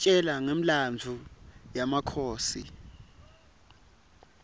isitjela ngemlandvo yemakhosi